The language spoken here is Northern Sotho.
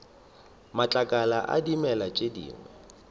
matlakala a dimela tše dingwe